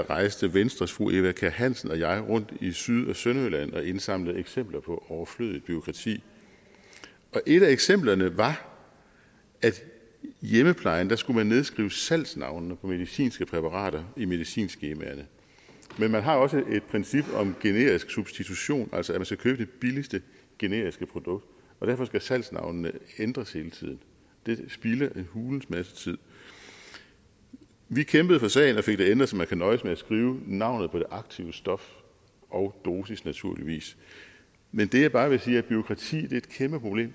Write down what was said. rejste venstres fru eva kjer hansen og jeg rundt i syd og sønderjylland og indsamlede eksempler på overflødigt bureaukrati et af eksemplerne var at i hjemmeplejen skulle man nedskrive salgsnavnene på medicinske præparater i medicinskemaerne men man har også et princip om generisk substitution altså at man skal købe det billigste generiske produkt og derfor skal salgsnavnene ændres hele tiden det spilder en hulens masse tid vi kæmpede for sagen og fik det ændret så man kan nøjes med at skrive navnet på det aktive stof og dosis naturligvis men det jeg bare vil sige er at bureaukrati er et kæmpeproblem